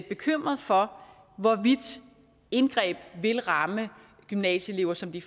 bekymret for hvorvidt indgreb vil ramme gymnasieelever som de